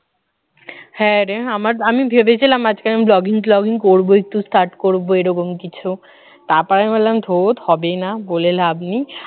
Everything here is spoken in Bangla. হ্যাঁরে আমার আমি ভেবেছিলাম আজকে blogging টগিং করবো একটু search করবো এরকম কিছু তারপরে ভাবলাম ধুর হবে না বলে লাভ নেই